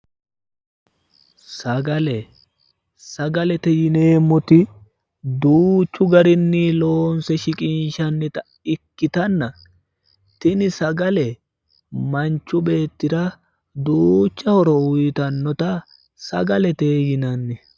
sagale sagalete yineemmoti duuchu garinni loonse shiqinshannita ikkitanna tini sagale manchu beettira duucha horo uyiitannota sagalete yinanni.